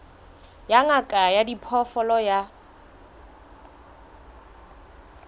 ya ngaka ya diphoofolo ya